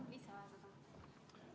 Palun lisaaega ka!